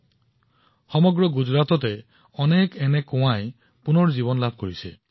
গোটেই গুজৰাটত বহুতো ভাভ পুনৰুজ্জীৱিত কৰা হৈছিল